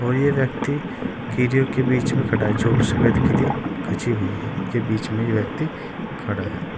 और ये व्यक्ति किरियो के बीच में खड़ा है जो सफेद किरी खींची हुई है के बीच में ये व्यक्ति खड़ा है।